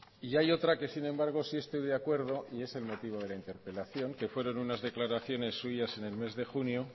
y hay otra que sin embargo sí estoy de acuerdo y es el motivo de la interpelación que fueron unas declaraciones suyas en el mes de junio